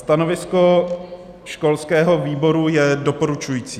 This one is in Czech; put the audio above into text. Stanovisko školského výboru je doporučující.